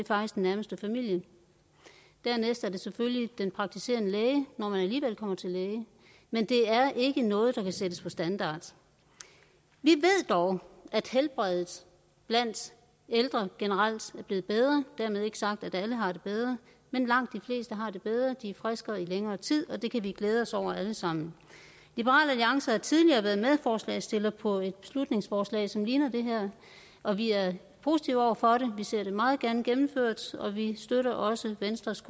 nærmeste familie dernæst er det selvfølgelig den praktiserende læge når man alligevel kommer til læge men det er ikke noget der kan sættes på standard vi ved dog at helbredet blandt ældre generelt er blevet bedre dermed ikke sagt at alle har det bedre men langt de fleste har det bedre de er friskere i længere tid og det kan vi glæde os over alle sammen liberal alliance har tidligere været medforslagsstiller på et beslutningsforslag som ligner det her og vi er positive over for det vi ser det meget gerne gennemført og vi støtter også venstres